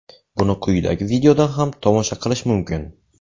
Buni quyidagi videodan ham tomosha qilish mumkin.